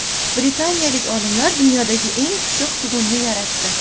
Britaniyalik olimlar dunyodagi eng pishiq tugunni yaratdi.